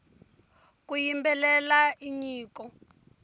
ku yimbelela i nyiko